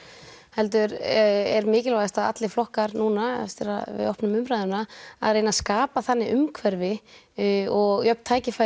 heldur er mikilvægast að allir flokkar núna eftir að við opnum umræðuna að reyna að skapa þannig umhverfi og jöfn tækifæri